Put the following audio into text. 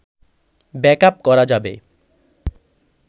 backup করা যাবে